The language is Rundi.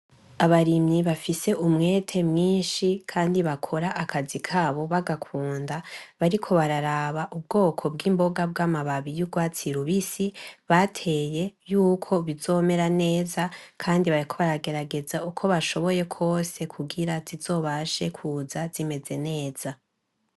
Abarimyi bafise umwete mwinshi kandi bagakora akazi kabo bagakunda, bariko bararaba ubwoko bw'imboga bw'amababi y'urwatsi rubisi bateye yuko bizomera neza kandi bariko baragerageza uko bashoboye kose kugira zizobashe kuza zimeze neza.